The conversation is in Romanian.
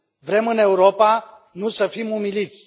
Vrem în Europa, nu să fim umiliți!